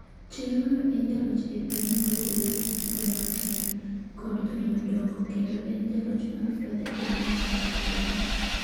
Cherono ee jaloch ee piem rowere, jomatindo, kod jomadongo kendo en jaloch mar fedha ee mita aluf abich.